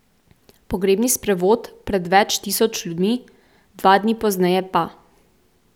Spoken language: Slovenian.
Pogrebni sprevod pred več tisoč ljudmi, dva dni pozneje pa ...